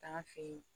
Taa an fɛ yen